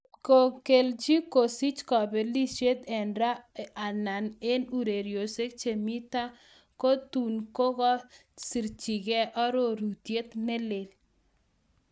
Ngot kokelchi kosich kobelisiet en ra alan en ureriosiek che mi tai kotun kogokosirchigei arorutiet ne lel